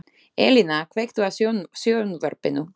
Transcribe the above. Elína, kveiktu á sjónvarpinu.